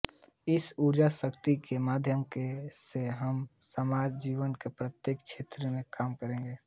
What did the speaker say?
इस ऊर्जाशक्ति के माध्यम से हम समाज जीवन के प्रत्येक क्षेत्र में काम करेंगे